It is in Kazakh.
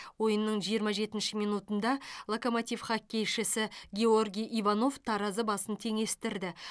ойынның жиырма жетінші минутында локомотив хоккейшісі георгий иванов таразы басын теңестірді